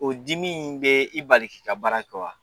O dimi in bɛ i bali ki ka baara kɛ wa